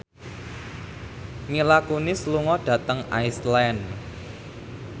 Mila Kunis lunga dhateng Iceland